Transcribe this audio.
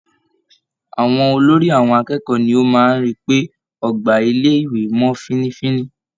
Àwọn olórí àwọn akẹ́kọ̀ọ́ ní o máa ń rí pé ọgbà ilé - ìwé mọ́ fínnífínní.